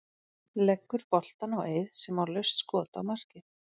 Leggur boltann á Eið sem á laust skot á markið.